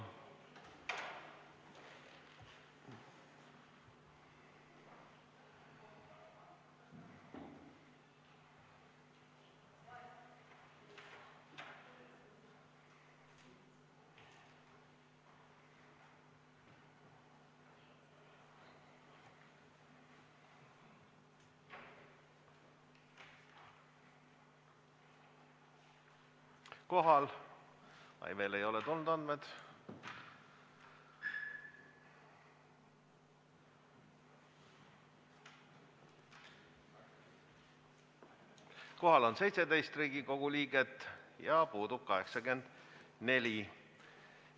Kohaloleku kontroll Kohal on 17 Riigikogu liiget ja puudub 84.